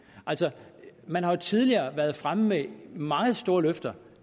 altså man har jo tidligere været fremme med meget store løfter